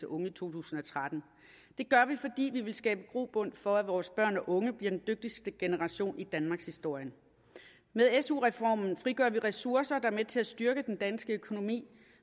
unge i to tusind og tretten det gør vi fordi vi vil skabe grobund for at vores børn og unge bliver den dygtigste generation i danmarkshistorien med su reformen frigør vi ressourcer hvilket er med til at styrke den danske økonomi